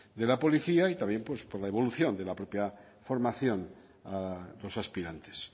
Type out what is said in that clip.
de la policía y también por la evolución de la propia formación a los aspirantes